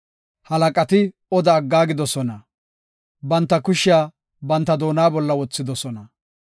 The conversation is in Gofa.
Halaqati oda aggaagidosona; banta kushiya banta doona bolla wothidosona.